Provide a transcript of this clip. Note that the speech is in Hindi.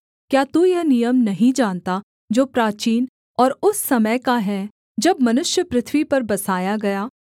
क्या तू यह नियम नहीं जानता जो प्राचीन और उस समय का है जब मनुष्य पृथ्वी पर बसाया गया